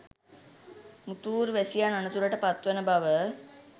මුතූර් වැසියන් අනතුරට පත්වන බව